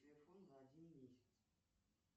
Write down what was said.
телефон на один месяц